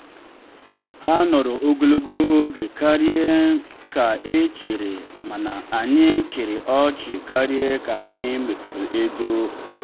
ha nọrọ ogologo oge karịa ka e chere mana anyị chịrị ọchị karịa ka anyị mefuru ego.